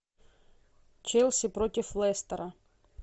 челси против лестера